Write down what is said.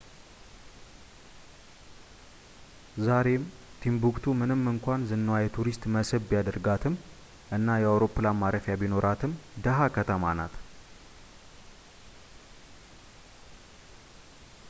ዛሬም ቲምቡክቱ ምንም እንኳን ዝናዋ የቱሪስት መስህብ ቢያደርጋትም እና አውሮፕላን ማረፊያ ቢኖራትም ድሃ ከተማ ናት